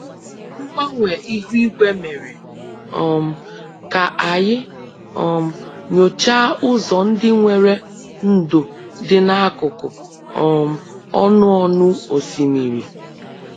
Mgbanwe ihu igwe mere um ka anyị um nyochaa ụzọ ndị nwere ndò dị n'akụkụ um ọnụ ọnụ osimiri